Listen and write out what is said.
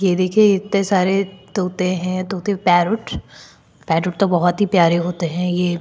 ये देखिए इतने सारे तोते हैं तोते पैरोट पैरोट तो बहुत प्यारे होते हैं ये--